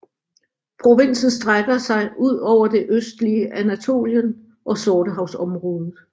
Provinsen strækker sig ud over det østlige Anatolien og Sortehavsområdet